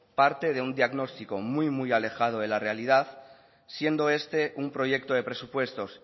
parte de un diagnostico muy muy alejado de la realidad siendo este un proyecto de presupuestos